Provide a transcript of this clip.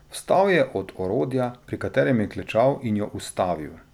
Vstal je od orodja, pri katerem je klečal, in jo ustavil.